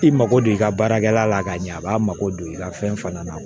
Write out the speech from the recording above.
I mago don i ka baarakɛla la k'a ɲɛ a b'a mago don i ka fɛn fana na